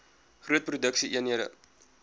groot produksie eenhede